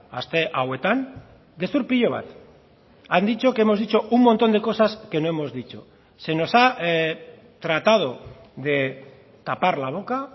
aste hauetan gezur pilo bat han dicho que hemos dicho un montón de cosas que no hemos dicho se nos ha tratado de tapar la boca